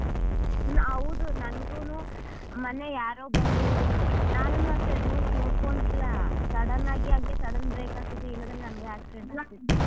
ಹೌದು ನಂಗೂನೂ ಮೊನ್ನೆ ಯಾರೋ ಬಂದು ನಾನುನೂ ಅಷ್ಟೇ rules ನೋಡ್ಕೊಂಡಿಲ್ಲ sudden ಆಗಿ ಹಂಗೆ sudden break ಹಾಕಿದ್ ಇಲ್ಲದಿದ್ರೆ ನಂಗು accident ಆಗ್ತಿತ್ತು.